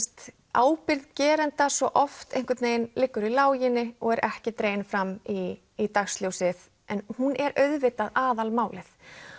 ábyrgð geranda svo oft liggur í láginni og er ekki dregin fram í í dagsljósið en hún er auðvitað aðal málið